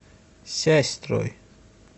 сясьстрой